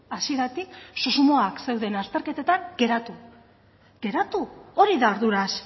hasieratik susmoak zeuden azterketetan geratzea geratu hori da arduraz